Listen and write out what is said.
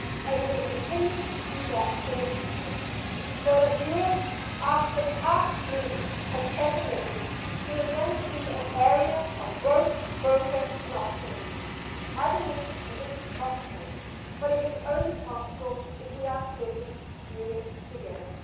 We will continue to do that in the future so that Europe, after the past gloom and pessimism, can again see an area of growth, progress and optimism. I believe that this is possible, but it is only possible if we are committed to doing it together.